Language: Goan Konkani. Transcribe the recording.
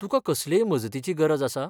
तुकां कसलेय मजतीची गरज आसा?